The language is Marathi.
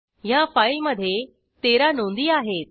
ह्या फाईलमधे 13 नोंदी आहेत